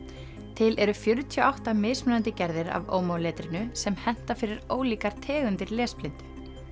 til eru fjörutíu og átta mismunandi gerðir af omo letrinu sem henta fyrir ólíkar tegundir lesblindu